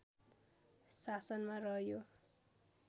शासनमा रह्यो